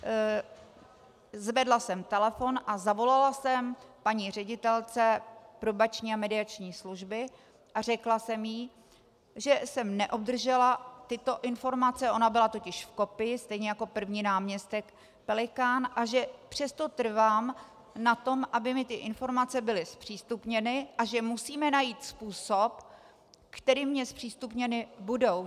Zvedla jsem telefon a zavolala jsem paní ředitelce Probační a mediační služby a řekla jsem jí, že jsem neobdržela tyto informace, ona byla totiž v kopii stejně jako první náměstek Pelikán, a že přesto trvám na tom, aby mi ty informace byly zpřístupněny, a že musíme najít způsob, kterým mně zpřístupněny budou.